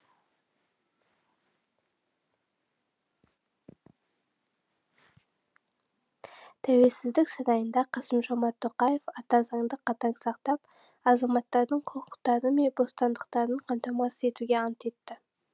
тәуелсіздік сарайында қасым жомарт тоқаев ата заңды қатаң сақтап азаматтардың құқықтары мен бостандықтарын қамтамасыз етуге ант етті